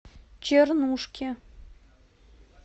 чернушки